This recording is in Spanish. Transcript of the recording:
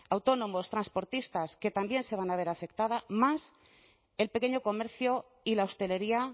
autónomos transportistas que también se van a ver afectadas más el pequeño comercio y la hostelería